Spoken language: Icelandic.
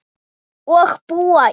Og búa í